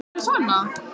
Kamí, mun rigna í dag?